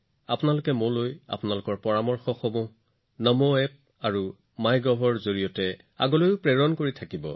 আপোনালোকৰ পৰামৰ্শবোৰ একেধৰণে নমো এপ আৰু মাইগভৰ জৰিয়তে মোলৈ প্ৰেৰণ কৰি থাকক